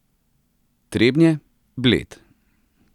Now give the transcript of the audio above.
Trebnje, Bled.